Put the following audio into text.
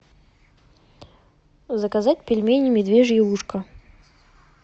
заказать пельмени медвежье ушко